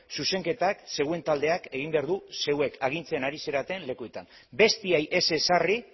zuzenketak zeuen taldeak egin behar du zeuek agintzen ari zareten lekuetan besteei ez ezarri